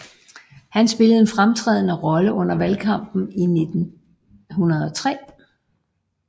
Han spillede en fremtrædende rolle under valgkampen i 1903